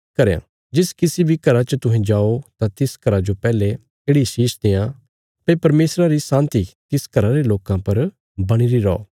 जिस किसी बी घरा च तुहें जाओ तां तिस घरा जो पैहले येढ़ि शीष देआं भई परमेशरा री शान्ति तिस घरा रे लोकां पर बणीरी रौ